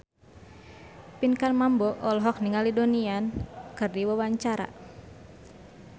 Pinkan Mambo olohok ningali Donnie Yan keur diwawancara